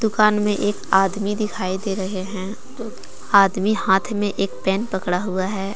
दुकान में एक आदमी दिखाई दे रहे हैं आदमी हाथ में एक पेन पकड़ा हुआ है।